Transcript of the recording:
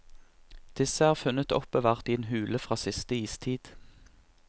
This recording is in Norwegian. Disse er funnet oppbevart i en hule fra siste istid.